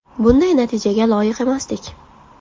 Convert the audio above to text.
Bunday natijaga loyiq emasdik.